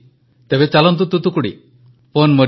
ପ୍ରଧାନମନ୍ତ୍ରୀ ପନ୍ ମରିୟପାନାଜୀ ୱଣକ୍କମ୍ ଆପଣ କେମିତି ଅଛନ୍ତି